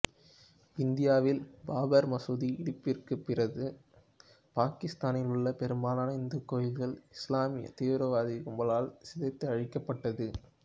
இந்தியாவில் பாபர் மசூதி இடிப்பிற்கு பிறது பாகிஸ்தானில் உள்ள பெரும்பாலன இந்துக் கோயில்கள் இசுலாமிய தீவிரவாதக் கும்பல்களால் சிதைத்து அழிக்கப்பட்டது